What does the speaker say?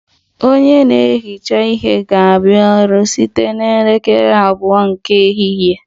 Onye na-ehicha ihe ga-abịa ọrụ site na elekere abụọ nke ehihie